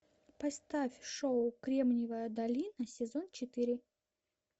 поставь шоу кремниевая долина сезон четыре